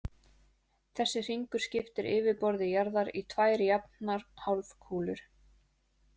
Þessi hringur skiptir yfirborði jarðar í tvær jafnar hálfkúlur.